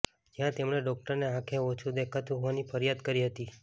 જ્યાં તેમણે ડોકટરને આંખે ઓછું દેખાતું હોવાની ફરીયાદ કરી હતી